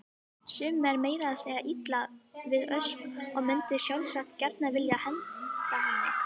Sumum er meira að segja illa við Ösp og mundu sjálfsagt gjarnan vilja henda henni.